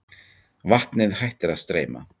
Vatnið hættir að streyma.